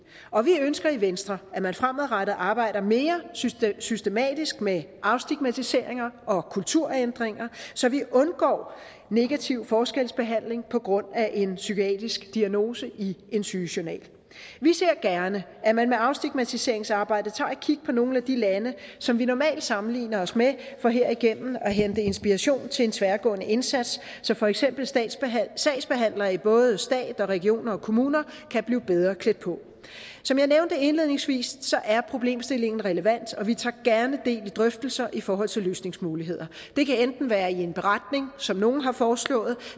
og vi ønsker i venstre at man fremadrettet arbejder mere systematisk systematisk med afstigmatisering og kulturændringer så vi undgår negativ forskelsbehandling på grund af en psykiatrisk diagnose i en sygejournal vi ser gerne at man med afstigmatiseringsarbejdet tager et kig på nogle af de lande som vi normalt sammenligner os med for herigennem at hente inspiration til en tværgående indsats så for eksempel sagsbehandlere i både staten regionerne og kommunerne kan blive bedre klædt på som jeg nævnte indledningsvis er problemstillingen relevant og vi tager gerne del i drøftelser i forhold til løsningsmuligheder det kan enten være i en beretning som nogle har foreslået